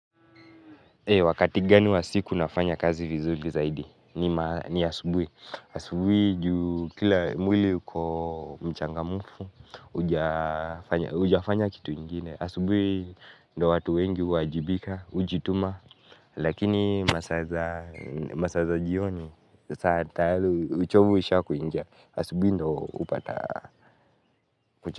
Wakati gani wa siku nafanya kazi vizuri zaidi? Ni asubuhi asubuhi, kila mwili uko mchangamfu, hujafanya kitu ingine. Asubuhi, ndio watu wengi huajibika, hujituma. Lakini masaa za jioni, saa tayari, uchovu ishakuingia. Asubuhi, ndio hupata.